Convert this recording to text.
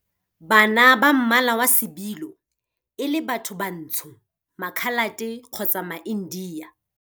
Kana ba mmala wa sebilo, e le bathobantsho, Makhalate kgotsa maIndia.